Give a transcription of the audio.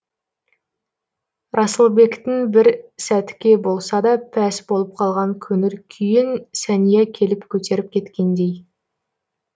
расылбектің бір сәтке болса да пәс болып қалған көңіл күйін сәния келіп көтеріп кеткендей